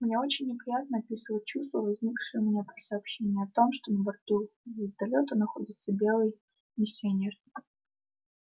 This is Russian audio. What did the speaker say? мне очень неприятно описывать чувства возникшие у меня при сообщении о том что на борту звездолёта находится беглый миссионер